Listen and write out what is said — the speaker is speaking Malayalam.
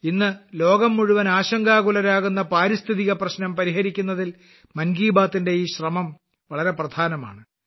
ഇന്ന് ലോകം മുഴുവൻ ആശങ്കാകുലരാകുന്ന പാരിസ്ഥിതിക പ്രശ്നം പരിഹരിക്കുന്നതിൽ മൻ കി ബാത്തിന്റെ ഈ ശ്രമം വളരെ പ്രധാനമാണ്